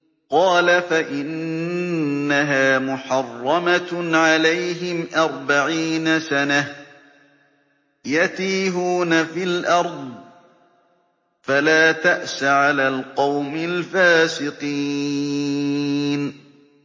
قَالَ فَإِنَّهَا مُحَرَّمَةٌ عَلَيْهِمْ ۛ أَرْبَعِينَ سَنَةً ۛ يَتِيهُونَ فِي الْأَرْضِ ۚ فَلَا تَأْسَ عَلَى الْقَوْمِ الْفَاسِقِينَ